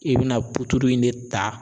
I bɛna in de ta